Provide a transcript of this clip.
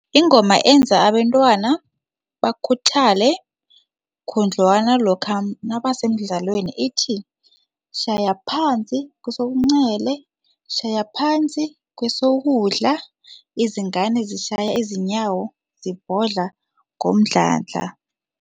Ingoma enza abentwana bakhuthale khudlwana lokha nabasemdlalweni ithi, shaya phansi kwesobuncele, shaya phansi kwesokudla, izingane zishaya izinyawo zibhodla ngomdlandla.